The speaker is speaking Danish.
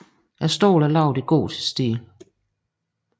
Stolen er lavet i gotisk stil